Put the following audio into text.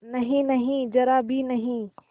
नहींनहीं जरा भी नहीं